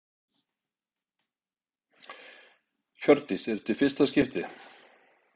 Hjördís: Er þetta í fyrsta skipti?